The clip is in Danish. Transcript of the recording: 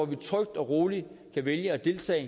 vi trygt og roligt kan vælge at deltage